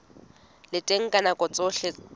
le teng ka nako tsohle